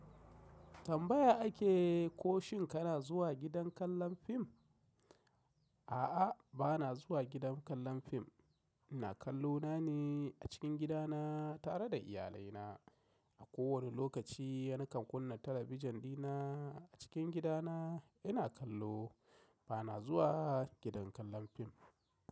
Tambaya ake ko shin kana zuwa gidan kallon fim? A'a, ba na zuwa gidan kallon fim. Ina kallo na ne a cikin gidana tare da iyalai na. A kowane lokaci, ni kan kunna talabijin dina a cikin gidana ina kallo. Ba na zuwa gidan kallon fim.